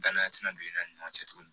Danaya tɛna don i n'a ni ɲɔgɔn cɛ tuguni